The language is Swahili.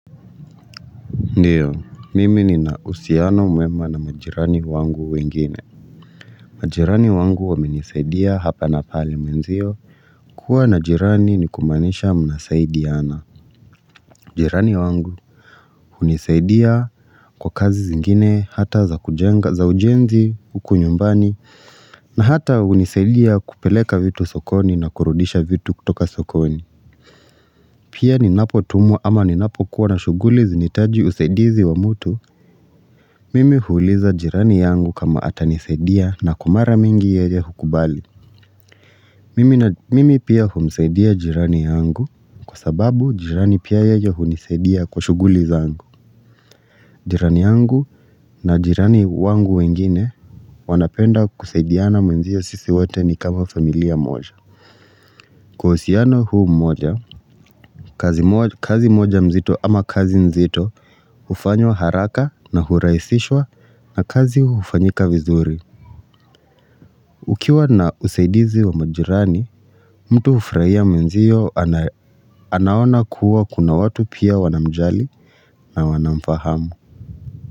Ndio, mimi nina uhusiano mwema na majirani wangu wengine. Majirani wangu wamenisaidia hapa na pale mwenzio. Kuwa na jirani ni kumaanisha mnasaidiana. Jirani wangu unisaidia kwa kazi zingine hata za kujenga, za ujenzi, huku nyumbani. Na hata unisaidia kupeleka vitu sokoni na kurudisha vitu kutoka sokoni. Pia ninapo tumwa ama ninapo kuwa na shughuli zinaitaji usaidizi wa mtu. Mimi huuliza jirani yangu kama ata nisaidia na kwa mara mingi yeye hukubali Mimi pia humsaidia jirani yangu kwa sababu jirani pia yeye hunisaidia kwa shughuli zangu jirani yangu na jirani wangu wengine wanapenda kusaidiana mwenzio sisi wote ni kama familia moja Kwa uhusiano huu mmoja, kazi moja mzito ama kazi mzito Ufanywa haraka na huraisishwa na kazi ufanyika vizuri Ukiwa na usaidizi wa majirani, mtu ufurahia mwenzio anaona kuwa kuna watu pia wanamjali na wanamfahamu.